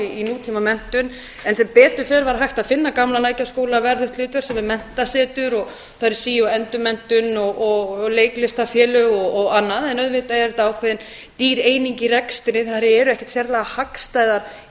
í tíma menntun en sem betur fer var hægt að finna gamla lækjarskólanum verðugt hlutverk sem er menntasetur og þar er sí og endurmenntun og leiklistarfélög og annað en auðvitað er þetta ákveðin dýr eining í rekstri þær eru ekkert sérlega hagstæðar í